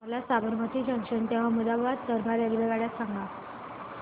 मला साबरमती जंक्शन ते अहमदाबाद दरम्यान रेल्वेगाड्या सांगा